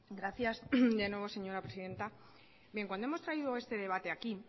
gracias de nueva señora presidenta bien cuando hemos traído este debate aquí